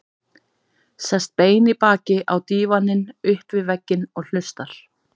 Sest bein í baki á dívaninn upp við vegginn og hlustar.